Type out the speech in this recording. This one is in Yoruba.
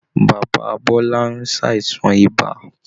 Bàbá bọ́lá ń ṣàìsàn ibà